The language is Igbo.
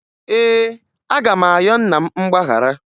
Ee, aga m ayọ nna m mgbaghara